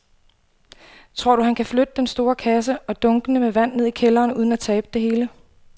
Tror du, at han kan flytte den store kasse og dunkene med vand ned i kælderen uden at tabe det hele?